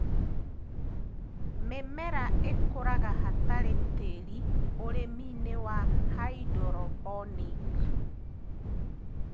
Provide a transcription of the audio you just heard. Mĩmera ĩkũraga hatarĩ tĩri ũrĩminĩ wa hydroponic